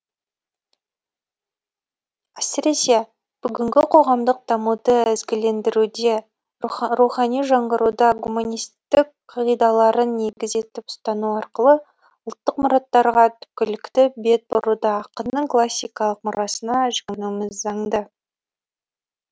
әсіресе бүгінгі қоғамдық дамуды ізгілендіруде рухани жаңғыруда гуманистік қағидаларын негіз етіп ұстану арқылы ұлттық мұраттарға түпкілікті бет бұруда ақынның классикалық мұрасына жүгінуіміз заңды